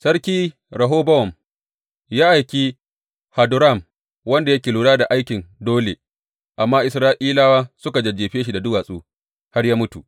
Sarki Rehobowam ya aiki Hadoram wanda yake lura da aikin dole, amma Isra’ilawa suka jajjefe shi da duwatsu har ya mutu.